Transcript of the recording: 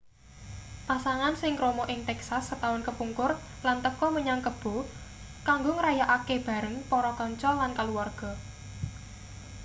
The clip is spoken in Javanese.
pasangan sing krama ing texas setaun kepungkur lan teka menyang kebo kanggo ngrayakake bareng para kanca lan kaluwarga